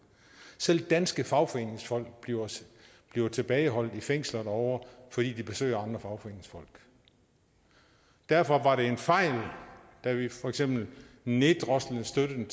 selv danske fagforeningsfolk bliver bliver tilbageholdt i fængsler derovre fordi de besøger andre fagforeningsfolk derfor var det en fejl da vi for eksempel neddroslede støtten